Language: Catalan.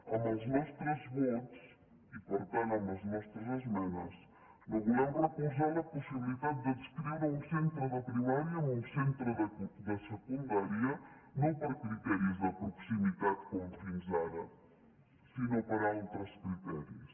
amb els nostres vots i per tant amb les nostres esmenes no volem recolzar la possibilitat d’adscriure un centre de primària a un centre de secundària no per criteris de proximitat com fins ara sinó per altres criteris